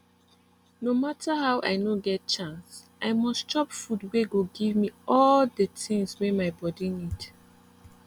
no matter how i nor get chance i mus chop food wey go give me all de tins wey my body need